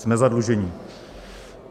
Jsme zadlužení.